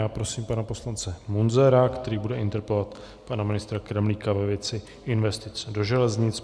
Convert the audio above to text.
Já prosím pana poslance Munzara, který bude interpelovat pana ministra Kremlíka ve věci investic do železnic.